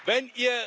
wenn